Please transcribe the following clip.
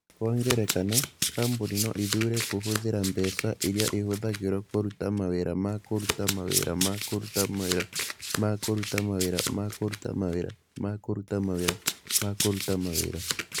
Kwa ngerekano, kambuni no ĩthuure kũhũthĩra mbeca iria ĩhũthagĩrũo kũruta mawĩra ma kũruta mawĩra ma kũruta mawĩra ma kũruta mawĩra ma kũruta mawĩra ma kũruta mawĩra ma kũruta mawĩra.